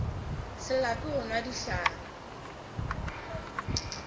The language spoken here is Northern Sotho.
se lape go nwa dihlare